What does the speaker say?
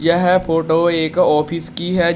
यह फोटो एक ऑफिस की है।